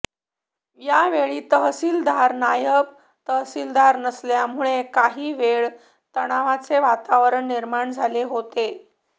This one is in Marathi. यावेळी तहसीलदार नायब तहसीलदार नसल्यामुळे काही वेळ तणावाचे वातावरण निर्माण झाले होते